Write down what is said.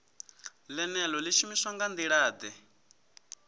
ḽeneḽo ḽi shumiswa nga nḓilaḓe